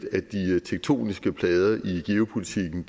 tektoniske plader i geopolitikken